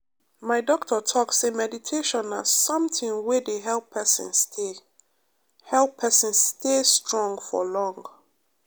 my doctor talk say meditation na something wey dey help person stay help person stay strong for long.